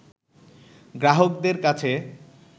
গ্রাহকদের কাছে